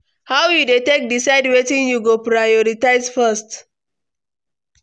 How you dey take decide wetin you go prioritize first?